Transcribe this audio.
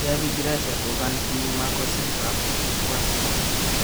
Javi Gracia kokantii Marco Silva , Watford